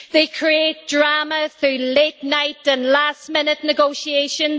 They create drama through late night and last minute negotiations.